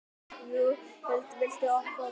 Júlíhuld, viltu hoppa með mér?